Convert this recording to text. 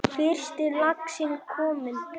Fyrsti laxinn kominn